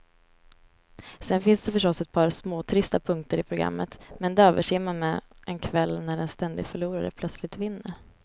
Sen finns det förstås ett par småtrista punkter i programmet, men de överser man med en kväll när en ständig förlorare plötsligt vinner.